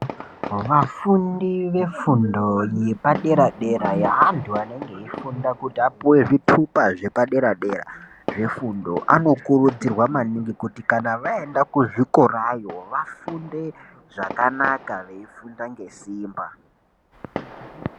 Vafundi vefindo yepadera dera yeanthu anenge eifunda kuti apuwe zvitupa zvepaderadera zvefundo anokurudzirwa maningi kuti kana vaenda kuzvikorayo vafunde zvakanaka veifunda ngesimba.